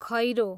खैरो